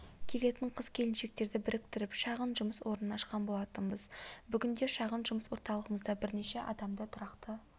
келетін қыз-келіншектерді біріктіріп шағын жұмыс орнын ашқан болатынбыз бүгінде шағын жұмыс орталығымызда бірнеше адамды тұрақты